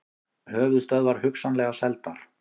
Höfuðstöðvar hugsanlega seldar